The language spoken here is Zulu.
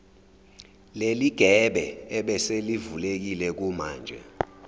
leligebe ebeselivulekile kumanje